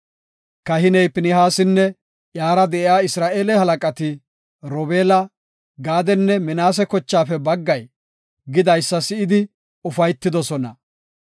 Kahiney Pinihaasinne iyara de7iya Isra7eele halaqati, Robeela, Gaadenne Minaase kochaafe baggay odidaysa si7idi, ufaytidosona.